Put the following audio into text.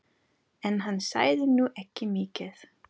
En hann sagði nú ekki mikið.